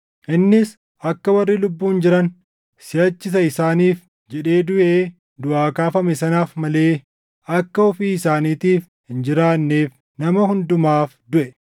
Innis akka warri lubbuun jiran siʼachi isa isaaniif jedhee duʼee duʼaa kaafame sanaaf malee akka ofii isaaniitiif hin jiraanneef nama hundumaaf duʼe.